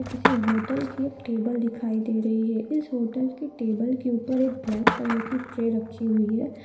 किसी होटल के टेबल दिखाई दे रही है। इस होटल की टेबल उपर एक ब्लैक कलर ट्रे रखी हुई है।